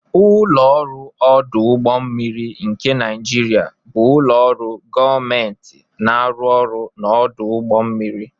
Ụlọ ọrụ ọdụ ụgbọ mmiri nke Naijiria bụ ụlọ ọrụ gọọmentị na-arụ ọrụ ọdụ ụgbọ mmiri